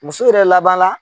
Muso yɛrɛ laban la